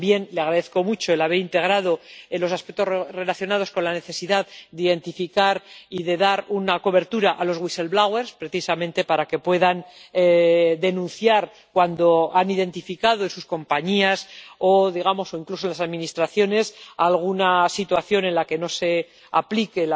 También le agradezco mucho el haber integrado los aspectos relacionados con la necesidad de identificar y de dar una cobertura a los whistleblowers precisamente para que puedan denunciar, cuando la hayan identificado en sus compañías o incluso en las administraciones, alguna situación en la que no se aplican